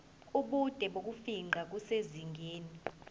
ubude bokufingqa kusezingeni